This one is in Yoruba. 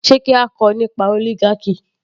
Sé kí a kọ nípa oligarchy